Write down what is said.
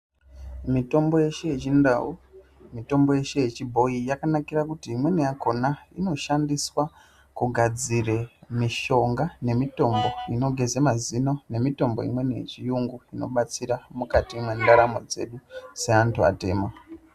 Mitombo yeshe yechindau, mitombo yeshe yechibhoyi yakanakira kuti imweni yakhona inoshandiswa kugadzira mishonga nemitombo inogeza mazino nemitombo imweni yechiyungu inobatsira mukati mwendaramo dzedu. Seantu atema.